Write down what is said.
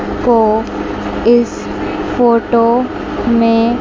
वो इस फोटो में--